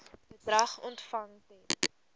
bedrag ontvang ten